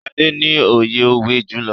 Sade ní oye òwe julọ.